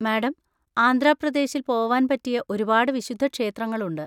Madam, Andhra പ്രദേശിൽ പോവാൻ പറ്റിയ ഒരുപാട് വിശുദ്ധക്ഷേത്രങ്ങളുണ്ട്.